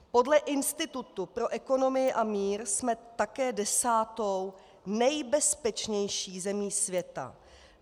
Podle Institutu pro ekonomii a mír jsme také desátou nejbezpečnější zemí světa.